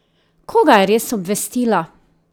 Koga je res obvestila?